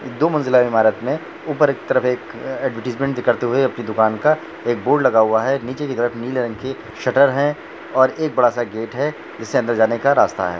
दो मंजिला इमारत मे ऊपर की तरफ एक ऐड्वर्टाइज़्मन्ट की करते हुवे अपनी दुकान का एक बोर्ड लगा हुवा है नीचे की तरफ नीले रंग की शटर है और एक बड़ा सा गेट है जिस से अंदर जाने का रास्ता है।